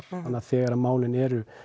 þegar málin eru